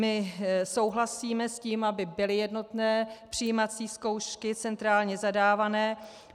My souhlasíme s tím, aby byly jednotné přijímací zkoušky, centrálně zadávané.